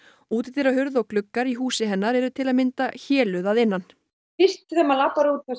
útidyrahurð og gluggar í húsi hennar eru til að mynda að innan fyrst þegar maður labbar út og